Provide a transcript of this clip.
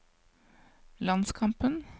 landskampen